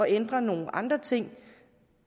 ændre nogle andre ting